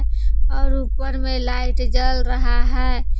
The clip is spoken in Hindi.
और ऊपर में लाइट जल रहा है।